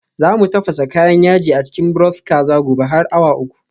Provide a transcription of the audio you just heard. Za mu tafasa kayan yaji a cikin broth kaza. gobe har awa uku